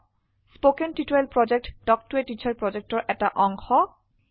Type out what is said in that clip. কথন শিক্ষণ প্ৰকল্প তাল্ক ত a টিচাৰ প্ৰকল্পৰ এটা অংগ